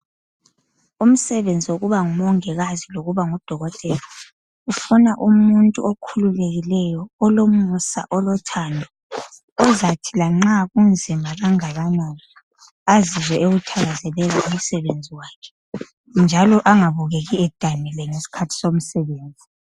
Umsebenzi wokuba ngudokotela lokuba ngumongikazi lokuba ngudokotela ufuna umuntu okhululekileyo olomusa olothando ozathi lanxa kunzima kangakanani azizwe ewuthakazelela umsebenzi wakhe njalo angabukeki edanile ngeskhathi somsebenzi